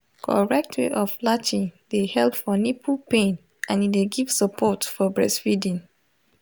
correct way of latching de help for nipple pain and e de give support for breastfeeding